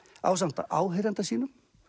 ásamt áheyranda sínum